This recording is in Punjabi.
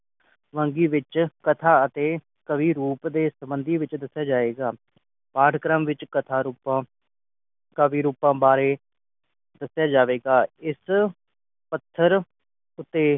ਵੰਨਗੀ ਵਿਚ ਕਥਾ ਅਤੇ ਕਾਵਿ ਰੂਪ ਦੇ ਸੰਬੰਧੀ ਵਿਚ ਦੱਸਿਆ ਜਾਏਗਾ ਪਾਠ ਕਰਮ ਵਿਚ ਕਥਾ ਰੁਪਾ ਕਾਵਿ ਰੂਪ ਬਾਰੇ ਦੱਸਿਆ ਜਾਵੇਗਾ ਇਸ ਪੱਥਰ ਉਤੇ